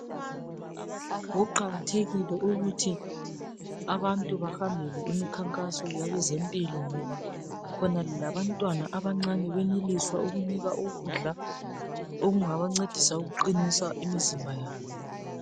Kuqakathekile ukuthi abantu bahambele imikhankaso yabezempilo ngoba khona labantwana abancane beneliswa ukunikwa ukudla okungaba qinisa imizimba .